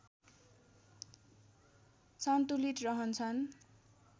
सन्तुलित रहन्छन्